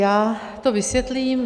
Já to vysvětlím.